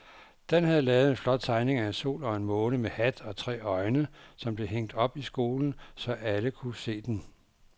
Dan havde lavet en flot tegning af en sol og en måne med hat og tre øjne, som blev hængt op i skolen, så alle kunne se den.